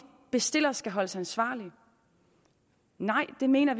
bestiller skal holdes ansvarlig nej vi mener